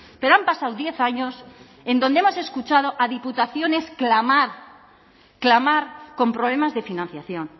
pero han pasado diez años en donde hemos escuchado a diputaciones clamar clamar con problemas de financiación